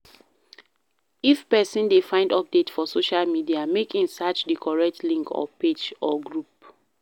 If persin de find update for socia media make in search di correct link or page or group